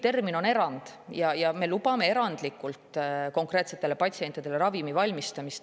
Termin on "erand" ja me lubame valmistada ravimi konkreetsetele patsientidele.